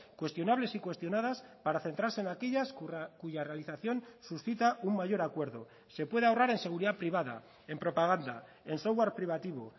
cuestionables y cuestionadas para centrarse en aquellas cuya realización suscita un mayor acuerdo se puede ahorrar en seguridad privada en propaganda en software privativo